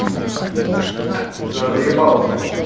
вчера заебался